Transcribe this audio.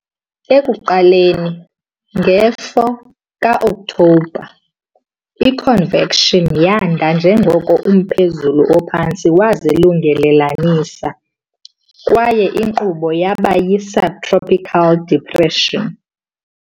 Ekuqaleni ngo-4 Ngo-Okthobha, i-convection yanda njengoko umphezulu ophantsi wazilungelelanisa, kwaye inkqubo yaba yi-subtropical depression.